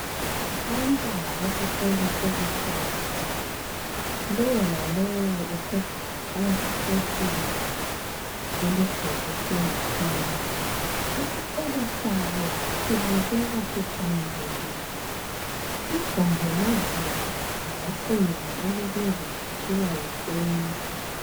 Abantwana besikolo sebetshayisile. Lowo lalowo usegaxe isetsheli yakhe elubhekise ngakibo. Isikolo sabo sibukeka sihlanzekile sigonjolozelwe ngocingo olubizwa kuthiwa yi fence.